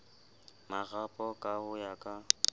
marapo ka ho ya ka